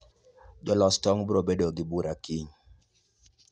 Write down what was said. jous tong brobedo gi bura kiny